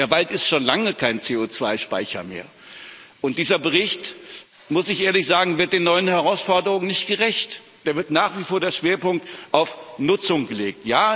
Der Wald ist schon lange kein CO2 Speicher mehr. Dieser Bericht, muss ich ehrlich sagen, wird den neuen Herausforderungen nicht gerecht. Da wird nach wie vor der Schwerpunkt auf Nutzung gelegt.